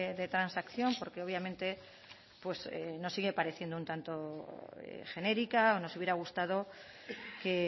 de transacción porque obviamente nos sigue pareciendo un tanto genérica nos hubiera gustado que